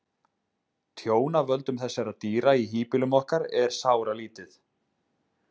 Tjón af völdum þessara dýra í híbýlum okkar er sáralítið.